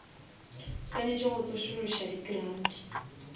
swanetše go tsošološa di grants